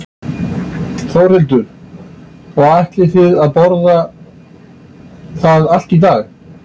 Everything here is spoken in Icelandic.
Þórhildur: Og ætlið þið að borða það allt í dag?